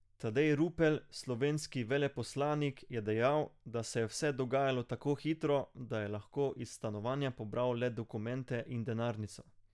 Tadej Rupel, slovenski veleposlanik, je dejal, da se je vse dogajalo tako hitro, da je lahko iz stanovanja pobral le dokumente in denarnico.